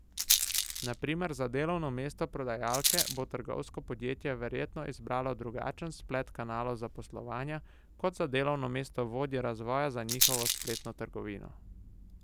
Na primer za delovno mesto prodajalke bo trgovsko podjetje verjetno izbralo drugačen splet kanalov zaposlovanja kot za delovno mesto vodje razvoja za njihovo spletno trgovino.